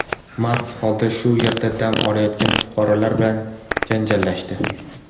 mast holda shu yerda dam olayotgan fuqarolar bilan janjallashdi.